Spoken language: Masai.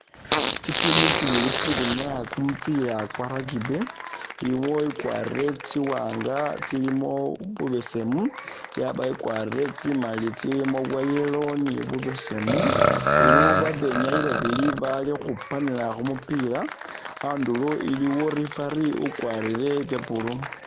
Tsitimu tsibili tsili ukhwinyaa kumupila kwa rugby iliwo i'kwarire tsiwaanga tsilimo bubesemu yabawo i'kwarire tsimali tsilimo bwa'yellow ni bubesemu, iliwo babenyayi babili bali khupanila khumupila, a'ndulo iliwo referee ukwarire bya blue